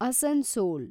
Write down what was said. Asansol